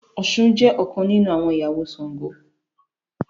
Òshun jé ọkàn nínú àwọn ìyàwó Ṣàngó.